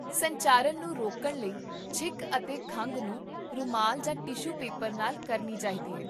ਸੰਚਾਰਨ ਨੂੰ ਰੋਕਣ ਲਈ, ਛਿੱਕ ਅਤੇ ਖੰਘ ਨੂੰ ਰੁਮਾਲ ਜਾਂ ਟਿਸ਼ੂ ਪੇਪਰ ਨਾਲ ਕਰਨੀ ਚਾਹੀਦੀ ਹੈ